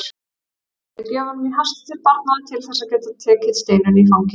Hann dreifði gjöfunum í hasti til barnanna til þess að geta tekið Steinunni í fangið.